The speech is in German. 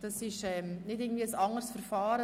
Das ist nicht ein anderes Verfahren.